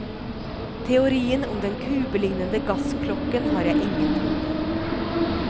Teorien om den kubelignende gassklokken har jeg ingen tro på.